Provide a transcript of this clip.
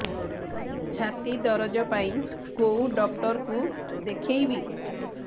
ଛାତି ଦରଜ ପାଇଁ କୋଉ ଡକ୍ଟର କୁ ଦେଖେଇବି